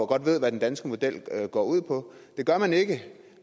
godt ved hvad den danske model går ud på det gør man ikke